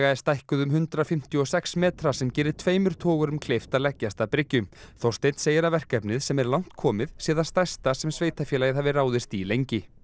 er stækkuð um hundrað fimmtíu og sex metra sem gerir tveimur togurum kleift að leggjast að bryggju Þorsteinn segir að verkefnið sem er langt komið sé það stærsta sem sveitarfélagið hafi ráðist í lengi